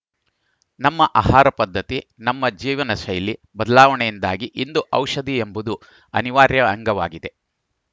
ನಮ್ಮ ಆಹಾರ ಪದ್ಧತಿ ನಮ್ಮ ಜೀವನಶೈಲಿ ಬದಲಾವಣೆಯಿಂದಾಗಿ ಇಂದು ಔಷಧಿ ಎಂಬುದು ಅನಿವಾರ್ಯ ಅಂಗವಾಗಿದೆ